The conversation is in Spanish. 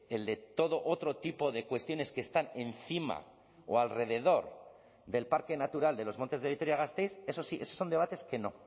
el de todo otro tipo de cuestiones que están encima o alrededor del parque natural de los montes de vitoria gasteiz eso sí eso son debates que no